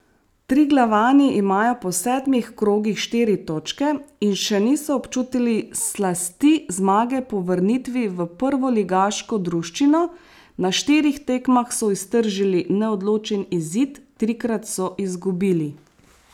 Triglavani imajo po sedmih krogih štiri točke in še niso občutili slasti zmage po vrnitvi v prvoligaško druščino, na štirih tekmah so iztržili neodločen izid, trikrat so izgubili.